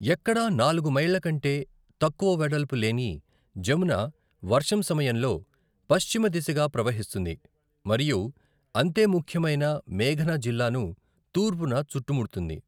ఎక్కడా నాలుగు మైళ్ల కంటే తక్కువ వెడల్పు లేని జమున వర్షం సమయంలో పశ్చిమ దిశగా ప్రవహిస్తుంది మరియు అంతే ముఖ్యమైన మేఘన జిల్లాను తూర్పున చుట్టుముడుతుంది.